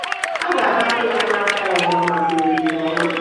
A ga-ahapụ ya n'afọ ọzọ maka omume ọma.